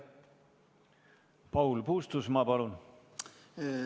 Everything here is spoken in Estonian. Paul Puustusmaa, palun!